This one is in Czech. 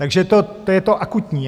Takže to je to akutní.